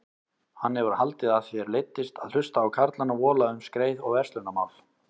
Hann hefur haldið að þér leiddist að hlusta á karlana vola um skreið og verslunarmál.